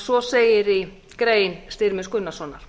svo segir í grein styrmis gunnarssonar